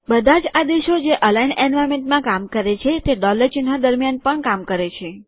બધા જ આદેશો જે અલાઈન્ડ એન્વાર્નમેન્ટમાં કામ કરે છે તે ડોલર ચિહ્ન દરમ્યાન પણ કામ કરે છે